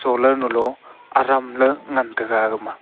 solar nu lo aram la ngan taga aga ma.